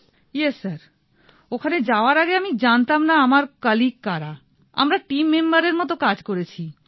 ভাবনা yes sir অখানে যাওয়ার আগে আমি জানতাম না আমার কলীগ কারা আমরা টীম মেম্বারের মতো কাজ করেছি